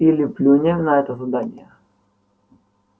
или плюнем на это задание